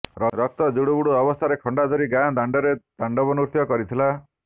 ରକ୍ତ ଜୁଡ଼ୁବୁଡ଼ୁ ଅବସ୍ଥାରେ ଖଣ୍ଡା ଧରି ଗାଁ ଦାଣ୍ଡରେ ତାଣ୍ଡବନୃତ୍ୟ କରିଥିଲା